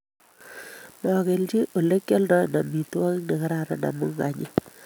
Magelji ole kialdoen amitwogik negararan amu kanyii